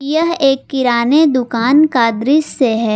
यह एक किराने दुकान का दृश्य है।